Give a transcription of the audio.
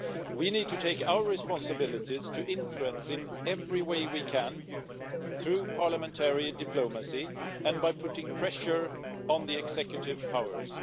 We need to take our responsibilities to exert influence in every way we can, through parliamentary diplomacy and by putting pressure on the executive powers.